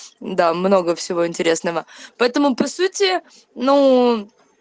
да много всего интересного поэтому по сути ну